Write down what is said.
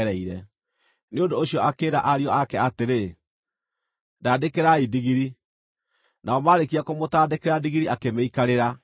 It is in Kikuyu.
Nĩ ũndũ ũcio akĩĩra ariũ ake atĩrĩ, “Ndandĩkĩrai ndigiri.” Nao marĩkia kũmũtandĩkĩra ndigiri akĩmĩikarĩra